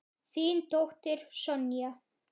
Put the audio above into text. Þín dóttir, Sonja.